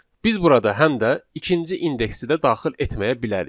Biz burada həm də ikinci indeksi də daxil etməyə bilərik.